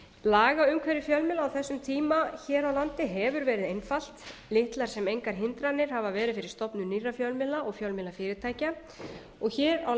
lagaumhverfi fjölmiðla á þessum tíma hér á landi hefur verið einfalt litlar sem engar hindranir hafa verið fyrir stofnun nýrra fjölmiðla og fjölmiðlafyrirtækja og hér á